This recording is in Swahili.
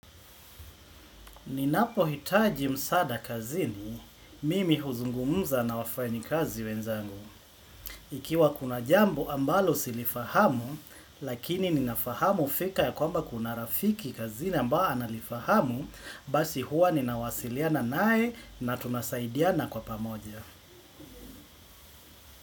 Ninapohitaji msaada kazini, mimi huzungumuza na wafanyikazi wenzangu. Ikiwa kuna jambo ambalo silifahamu, lakini ninafahamu fika ya kwamba kuna rafiki kazini ambao analifahamu, basi huwa ninawasiliana naye na tunasaidiana kwa pamoja.